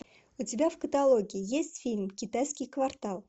у тебя в каталоге есть фильм китайский квартал